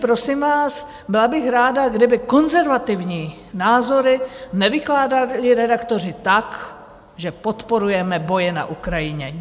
Prosím vás, byla bych ráda, kdyby konzervativní názory nevykládali redaktoři tak, že podporujeme boje na Ukrajině.